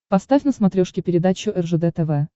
поставь на смотрешке передачу ржд тв